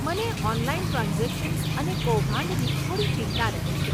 મને online transactions અને કૌભાંડની થોડી ચિંતા રહે છે.